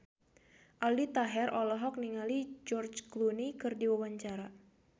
Aldi Taher olohok ningali George Clooney keur diwawancara